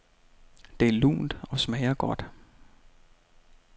Det er lunt og smager godt.